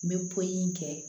N bɛ pɔli in kɛ